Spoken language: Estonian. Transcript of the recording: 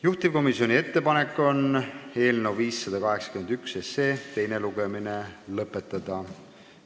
Juhtivkomisjoni ettepanek on eelnõu 581 teine lugemine lõpetada.